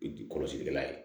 Kɔlɔsilikɛla ye